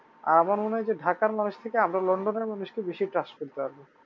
আর আমার মনে হয় যে ঢাকার মানুষ থেকে আমরা লন্ডনের মানুষকে বেশি trust করতে পারবো